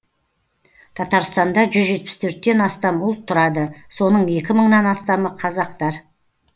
татарстанда жүз жетпіс төрттен астам ұлт тұрады соның екі мыңнан астамы қазақтар